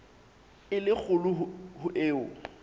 e le kgolo ho eo